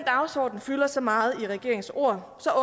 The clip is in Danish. dagsorden fylder så meget i regeringens ord